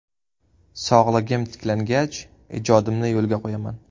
Sog‘ligim tiklangach, ijodimni yo‘lga qo‘yaman.